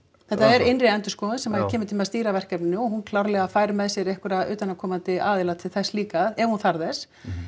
þetta er innri endurskoðun sem kemur til með að stýra verkefninu og hún klárlega fær með sér einhverja utanaðkomandi aðila til þess líka ef hún þarf þess